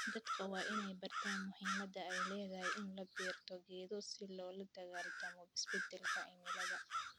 Dadka waa inay bartaan muhiimadda ay leedahay in la beero geedo si loola dagaallamo isbeddelka cimilada.